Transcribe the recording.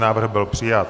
Návrh byl přijat.